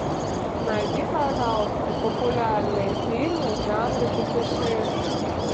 найди пожалуйста популярные фильмы в жанре путешествия